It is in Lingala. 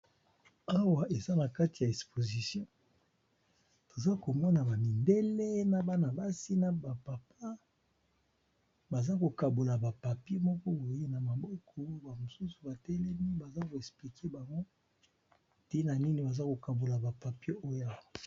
Awa eza na kati ya esposition, toza komona ba mibele na bana basi na ba papa baza ko kabola ba papie moko boye na maboko ba mosusu ba telemi baza ko esplike bango n tina nini baza ko kabola ba papie oyo.